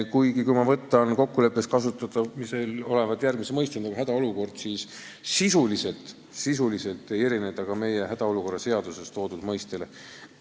Kui ma võtan kokkuleppes kasutusel oleva mõiste "hädaolukord", siis sisuliselt ei erine see ka meie hädaolukorra seaduses toodud mõistest.